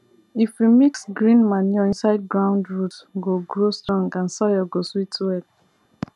if we mix green manure inside ground root go grow strong and soil go sweet well